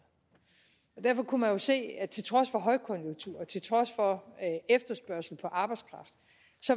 derfor kunne man jo se at til trods for højkonjunktur og til trods for efterspørgsel på arbejdskraft